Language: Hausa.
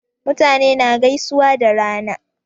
Mutane na gaisuwa da rana